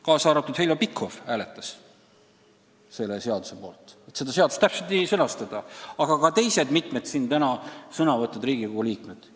Ka Heljo Pikhof hääletas sellise sõnastuse poolt, samuti mitmed teised siin täna sõna võtnud Riigikogu liikmed.